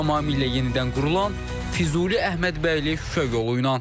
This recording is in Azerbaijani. Tamamilə yenidən qurulan Füzuli, Əhmədbəyli, Şuşa yolu ilə.